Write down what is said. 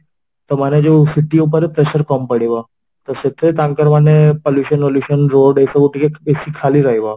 ତା ମାନେ ଯୋଉ city ଉପରେ pressure କମ ପଡିବ ତ ସେଥିରେ ତାଙ୍କର ମାନେ pollution road ଏସବୁ ଟିକେ ବେଶୀ ଖାଲି ରହିବ